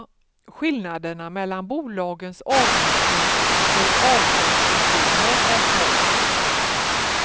Skillnaderna mellan bolagens avgifter för avtalspensioner är små.